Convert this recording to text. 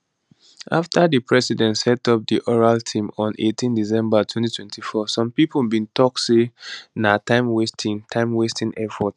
afta di president set up di oral team on 18 december 2024 some pipo bin tok say na timewasting timewasting effort